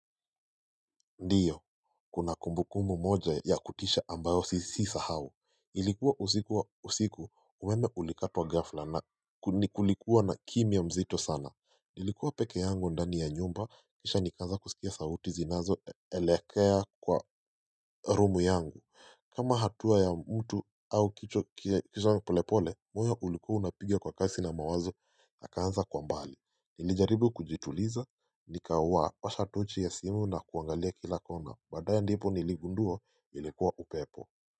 Ndiyo kuna kumbukumu moja ya kutisha ambayo sisahao ilikuwa usikuwa usiku umeme ulikatwa gafla na kulikuwa na kimia mzito sana nilikuwa pekee yangu ndani ya nyumba kisha nikaanza kusikia sauti zinazo elekea kwa rumu yangu kama hatua ya mtu au kicho kisha polepole moyo ulikua unapiga kwa kasi na mazo akaanza kwa mbali nilijaribu kujituliza nikawasha tochi ya simu na kuangalia kila kona badaye ndipo niligundua ilikuwa upepo.